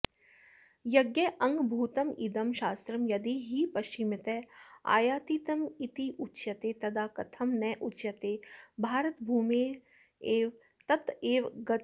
यज्ञाङ्गभूतमिदं शास्त्रं यदि हि पश्चिमत आयातितमित्युच्यते तदा कथं नोच्यते भारतभूरेव तत एवागतेति